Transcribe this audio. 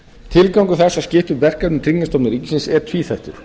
tilgangur þess að skipta upp verkefnum tryggingastofnunar ríkisins er tvíþættur